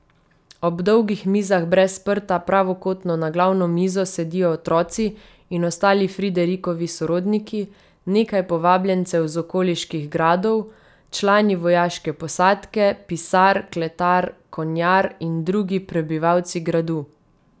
Ob dolgih mizah brez prta pravokotno na glavno mizo sedijo otroci in ostali Friderikovi sorodniki, nekaj povabljencev z okoliških gradov, člani vojaške posadke, pisar, kletar, konjar in drugi prebivalci gradu.